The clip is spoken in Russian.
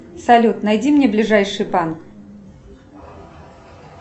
салют найди мне ближайший банк